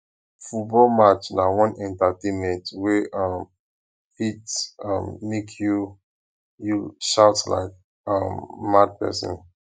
football match na one entertainment wey um fit um make you you shout like um mad person